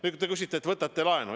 Nüüd, te ütlete, et te võtate laenu.